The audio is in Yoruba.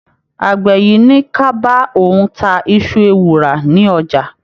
Àgbẹ̀ yìí ní ka bá òun ta iṣu ewùrà ní ọjà.